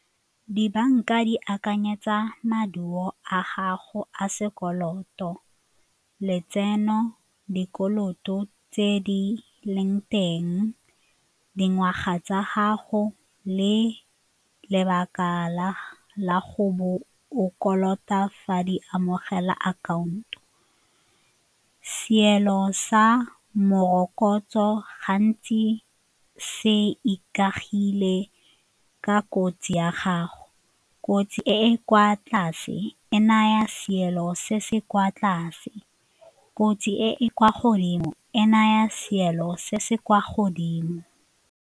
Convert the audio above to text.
Dibanka di akanyetsa maduo a gago a sekoloto, letseno, dikoloto tse di leng teng, dingwaga tsa gago le lebaka la go bo o kolota fa di amogela account. Seelo sa morokotso gantsi se ikagile ka kotsi ya gago, kotsi e e kwa tlase e naya seelo se se kwa tlase, kotsi e e kwa godimo e naya seelo se se kwa godimo.